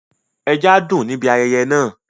ẹja dùn níbi ayẹyẹ náà.